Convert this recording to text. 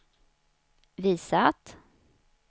visat